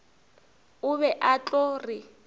o be a tlo re